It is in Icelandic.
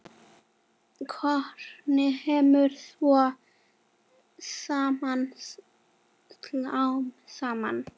Formið kemur svo smám saman.